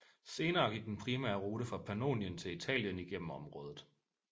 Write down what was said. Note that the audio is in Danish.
Senere gik den primære rute fra Pannonien til Italien igennem området